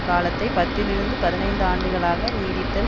காலத்தை பத்து லிருந்து பதினைந்து ஆண்டுகளாக நீடித்தல்